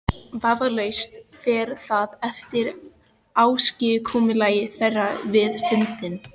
Vafalaust fer það eftir ásigkomulagi þeirra við fundinn.